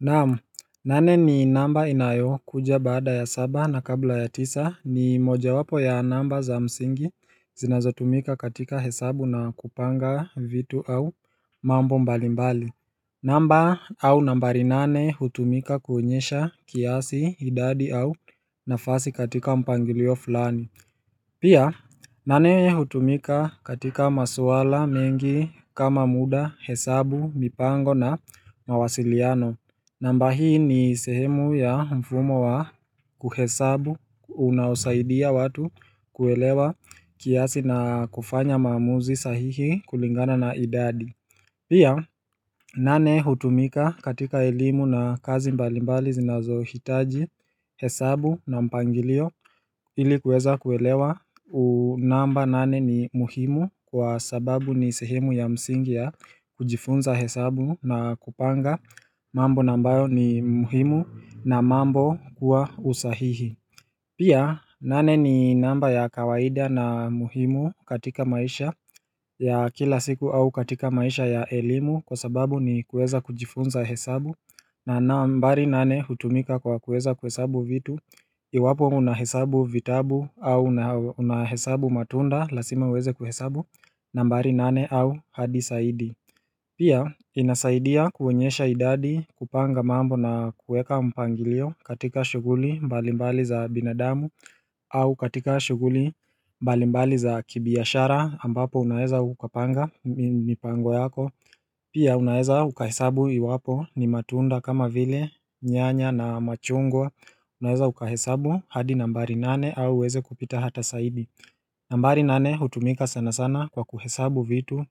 Naamu, nane ni namba inayo kuja baada ya saba na kabla ya tisa ni moja wapo ya namba za msingi zinazotumika katika hesabu na kupanga vitu au mambo mbalimbali namba au nambari nane hutumika kuonyesha kiasi, idadi au nafasi katika mpangilio fulani Pia, nane hutumika katika maswala mengi kama muda, hesabu, mipango na mawasiliano namba hii ni sehemu ya mfumo wa kuhesabu unaosaidia watu kuelewa kiasi na kufanya maamuzi sahihi kulingana na idadi Pia nane hutumika katika elimu na kazi mbalimbali zinazo hitaji hesabu na mpangilio ili kueza kuelewa namba nane ni muhimu kwa sababu ni sehemu ya msingi ya kujifunza hesabu na kupanga mambo ambayo ni muhimu na mambo kuwa usahihi Pia nane ni namba ya kawaida na muhimu katika maisha ya kila siku au katika maisha ya elimu kwa sababu ni kueza kujifunza hesabu na nambari nane hutumika kwa kuweza kuhesabu vitu Iwapo unahesabu vitabu au unahesabu matunda lazima uweze kuhesabu nambari nane au hadi zaidi Pia inasaidia kuonyesha idadi kupanga mambo na kueka mpangilio katika shuguli mbalimbali za binadamu au katika shuguli mbalimbali za kibiashara ambapo unaeza ukapanga mipango yako Pia unaeza uka hesabu iwapo ni matunda kama vile nyanya na machungwa Unaeza uka hesabu hadi nambari nane au uweze kupita hata zaidi nambari nane utumika sana sana kwa kuhesabu vitu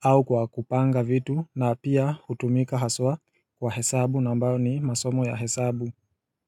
au kwa kupanga vitu na pia utumika haswa kwa hesabu na ambayo ni masomo ya hesabu.